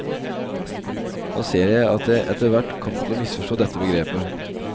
Nå ser jeg at jeg etter hvert kom til å misforstå dette begrepet.